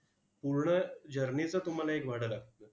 पूर्ण journey चं तुम्हाला एक भाडं लागतं.